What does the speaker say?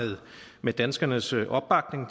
med danskernes opbakning